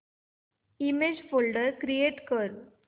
image folder create कर